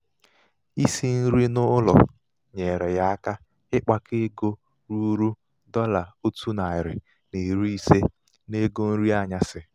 isi nri n'ụlọ nyeere ya aka ịkpakọ ego ruru dọla ótu nari na iri ise n 'ego nri anyasị.